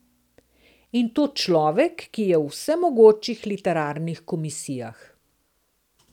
In to človek, ki je v vsemogočih literarnih komisijah.